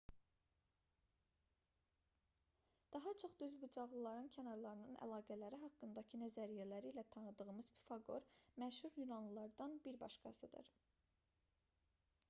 daha çox düzbucaqlının kənarlarının əlaqələri haqqındakı nəzəriyyələri ilə tanıdığımız pifaqor məşhur yunanlılardan bir başqasıdır